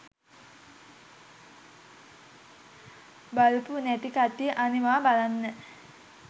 බලපු නැති කට්ටිය අනිවා බලන්න.